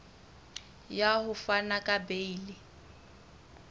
ya ho fana ka beile